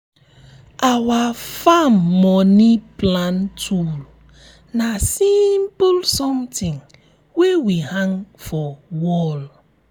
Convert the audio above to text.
our farm moni plan tool na simple sometin wey we hang for wall.